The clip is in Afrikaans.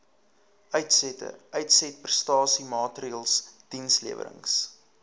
uitsette uitsetprestasiemaatreëls dienslewerings